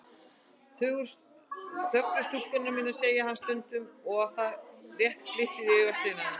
Þöglu stúlkurnar mínar, segir hann stundum og það rétt glittir í augasteinana.